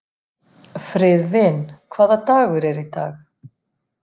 Friðvin, hvaða dagur er í dag?